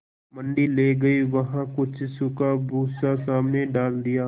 मंडी ले गये वहाँ कुछ सूखा भूसा सामने डाल दिया